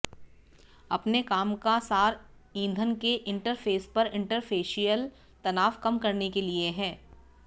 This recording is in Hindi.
अपने काम का सार ईंधन के इंटरफेस पर इंटरफेसियल तनाव कम करने के लिए है